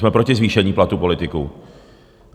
Jsme proti zvýšení platů politiků.